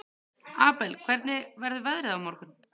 Abel, hvernig verður veðrið á morgun?